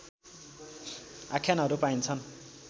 आख्यानहरू पाइन्छन्